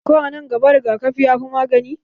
Ko a nan gaba, rigakafi ya fi magani